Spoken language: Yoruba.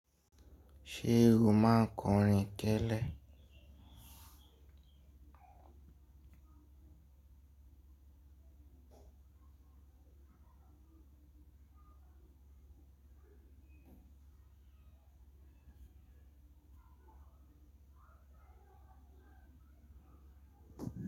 Ṣé o máa ń kọrin kẹ́lẹ́?